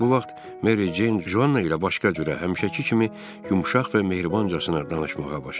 Bu vaxt Mary Jane Joana ilə başqa cürə, həmişəki kimi yumşaq və mehribancasına danışmağa başladı.